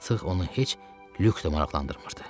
Artıq onu heç Lük də maraqlandırmırdı.